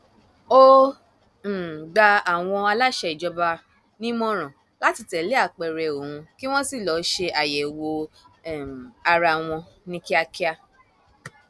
ó um gba àwọn aláṣẹ ìjọba nímọràn láti tẹlé apẹrẹ òun kí wọn sì lọọ ṣe àyẹwò um ara wọn ní kíákíá